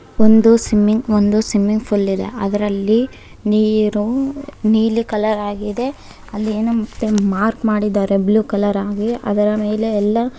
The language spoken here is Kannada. ಒಂದು ಸ್ವಿಮ್ಮಿಂಗ್ ಒಂದು ಸ್ವಿಮ್ಮಿಂಗ್ ಪೂಲ್ ಇದೆ ಅದರಲ್ಲಿ ನೀರು ನೀಲಿ ಕಲರ್ ಅಲ್ಲಿ ಇದೆ ಅಲ್ಲಿ ಏನೋ ಮತ್ತೆ ಮಾರ್ಕ್ ಮಾಡಿದ್ದಾರೆ ಬ್ಲೂ ಕಲರ್ ಆಗಿ ಅದರ ಮೇಲೆ ಎಲ್ಲ.